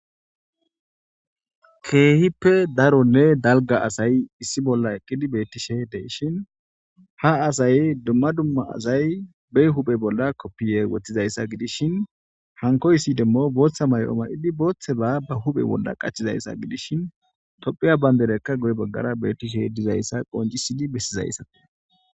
Keehippe daronne dalga asay issi bolla eqqidi bettishe deshin ha asay dumma dumma azay be huphe bolla koppiye woththizayssa gidishin hankoy ssi demmo booththa may7o ma7idi booththeba ba huphe bolla qachizayssa gidishin tophiya banberekka goy baggara beettishe dizayssa qoncisidi bessizayssa.